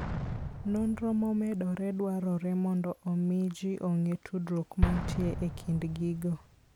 Nonro momedore dwarore mondo omi ji ong'e tudruok mantie e kind gigo.